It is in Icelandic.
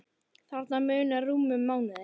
Þarna munar rúmum mánuði.